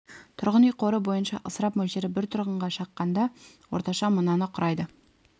тұрғын үй қоры бойынша ысырап мөлшері бір тұрғынға шаққанда орташа мынаны құрайды